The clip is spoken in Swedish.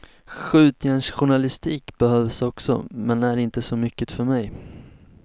Skjutjärnsjournalistik behövs också men är inte så mycket för mig.